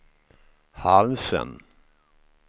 halsen